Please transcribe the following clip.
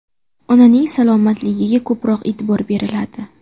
Onaning salomatligiga ko‘proq e’tibor beriladi.